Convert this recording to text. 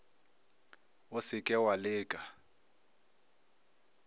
o se ke wa leka